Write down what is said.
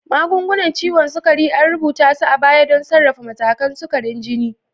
Magungunan ciwon sukari, an rubuta su a baya don sarrafa matakan sukarin jini.